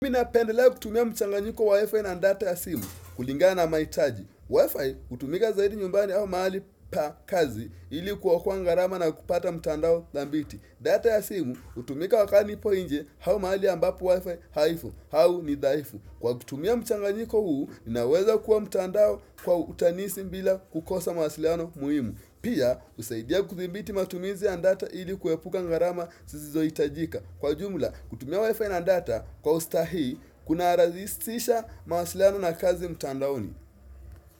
Mimi napendelaa kutumia mchanganyiko wa WIFI na data ya simu kulingana mahitaji WIFI hutumika zaidi nyumbani au mahali pa kazi ili kuokoa gharama na kupata mtandao dhabiti data ya simu hutumika wakati nipo nje au mahali ambapo WIFI haiko au ni dhaifu Kwa kutumia mchanganyiko huu ninaweza kuwa mtandao kwa urahisi bila kukosa mawasiliano muhimu Pia husaidia kudhibiti matumizi ya data ili kuepuka gharama zisizoitajika Kwa jumla kutumia wifi na data kwa ustahi kuna rahisisha mawasiliano na kazi mtandaoni.